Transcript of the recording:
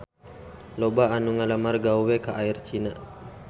Loba anu ngalamar gawe ka Air China